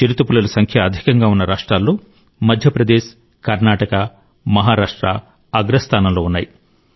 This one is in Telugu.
చిరుతపులుల జనాభా అధికంగా ఉన్న రాష్ట్రాల్లో మధ్యప్రదేశ్ కర్ణాటక మహారాష్ట్ర అగ్రస్థానంలో ఉన్నాయి